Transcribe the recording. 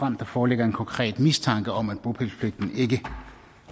om der foreligger en konkret mistanke om at bopælspligten ikke